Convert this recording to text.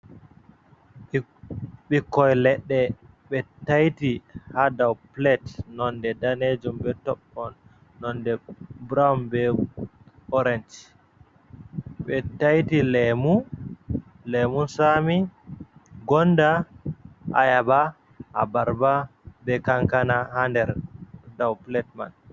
Ɓikkoi leɗɗe be taiti ha daw pilet nonde danejum be toɓɓon nonde burowun be orenj, ɓe taiti lemu, lemun sami, gonda, ayaba, a barba, be kankana, ha nder daw pilet man.